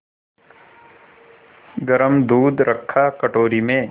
गरम दूध रखा कटोरी में